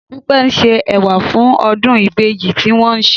Dúpẹ́ ń se ẹ̀wà fún ọdún ìbejì tí wọ́n ń ṣe